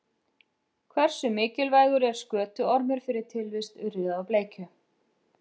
Hversu mikilvægur er skötuormur fyrir tilvist urriða og bleikju?